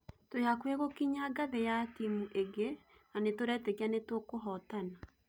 Twĩ hakukĩ gũkinya ngathe ya timu ĩngĩ na nĩtũretekia nĩtũkahotana